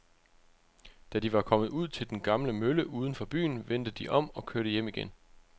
Da de var kommet ud til den gamle mølle uden for byen, vendte de om og kørte hjem igen.